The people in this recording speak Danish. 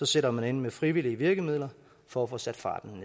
sætter man ind med frivillige virkemidler for at få sat farten